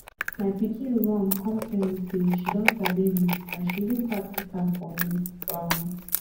my pikin run come tell me say she don sabi read and she even practice am for me um